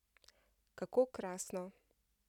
Kako krasno!